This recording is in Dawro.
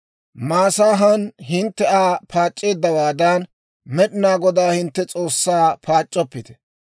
«Masaahan hintte Aa paac'c'eeddawaadan, Med'inaa Godaa hintte S'oossaa paac'c'oppite.